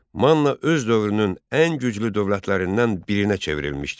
Manna öz dövrünün ən güclü dövlətlərindən birinə çevrilmişdi.